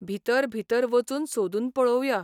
भितर भितर वचून सोदून पळोवया.